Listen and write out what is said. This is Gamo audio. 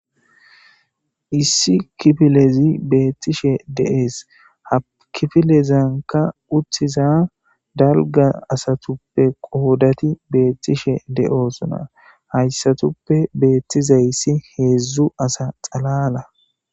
Issi kifilezi beettishe dees. Ha kifilezanka uttiza dalgga asatuppe qoodati beettishe de'osona. Hayssatuppe beettiza issi heezzu asa xalala.